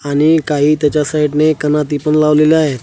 आणि काही त्याच्या साईडने कनाती पण लावलेला आहे.